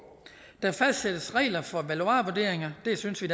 der fastsættes regler for valuarvurderinger det synes vi